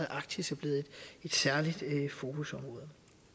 arktisk er blevet et særligt fokusområde